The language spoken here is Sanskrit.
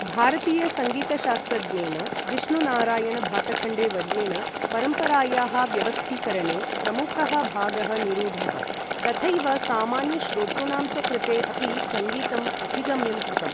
भारतीय सङ्गीतशास्त्रज्ञेन विष्णु नारायण भातखण्डेवर्येण परम्परायाः व्यवस्थीकरणे प्रमुखः भागः निरूढः, तथैव सामान्य श्रोतृॄणां च कृते अपि सङ्गीतं अभिगम्यं कृतम्।